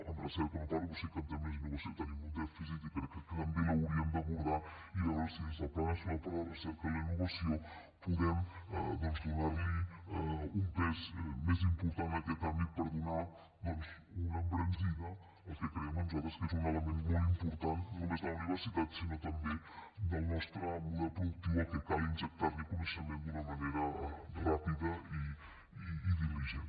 de recerca no en parlo però sí que en temes d’innovació hi tenim un dèficit i crec que també l’hauríem d’abordar i veure si des del pacte nacional per a la recerca i la innovació podem doncs donar un pes més important a aquest àmbit per donar una embranzida al que creiem nosaltres que és un element molt important no només de la universitat sinó també del nostre model productiu al qual cal injectar coneixement d’una manera ràpida i diligent